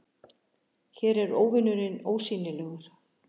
Hér er óvinurinn ósýnilegur